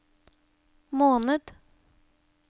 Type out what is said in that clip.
måned